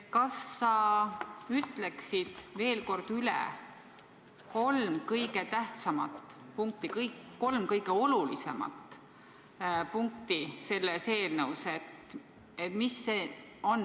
Kas sa ütleksid veel kord üle kolm kõige tähtsamat, olulisemat punkti selles eelnõus?